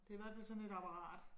Det i hvert fald sådan et apparat